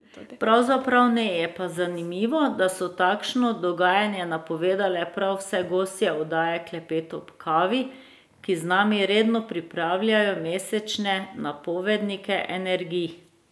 Pravzaprav ne, je pa zanimivo, da so takšno dogajanje napovedale prav vse gostje oddaje Klepet ob kavi, ki z nami redno pripravljajo mesečne napovednike energij.